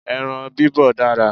Ẹran bibọ̀ dára